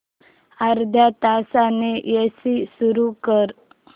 अर्ध्या तासाने एसी सुरू कर